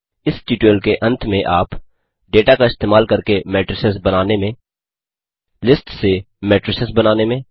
इस ट्यूटोरियल के अंत में आप डेटा का इस्तेमाल करके मेट्रिसेस बनाने में लिस्ट्स से मेट्रिसेस बनाने में